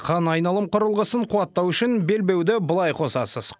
қан айналым құрылғысын қуаттау үшін белбеуді былай қосасыз